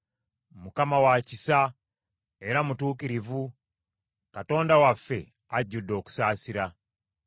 Mukama wa kisa, era mutuukirivu; Katonda waffe ajjudde okusaasira.